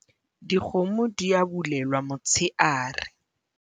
dikgomo di a bulelwa motsheare